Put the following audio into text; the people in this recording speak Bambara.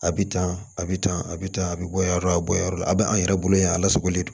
A bɛ tan a bɛ tan a bɛ tan a bɛ bɔ yan yɔrɔ a bɛ bɔ yɔrɔ dɔ a bɛ an yɛrɛ bolo yan a lasagolen don